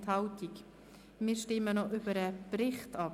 Jetzt stimmen wir über den Bericht ab.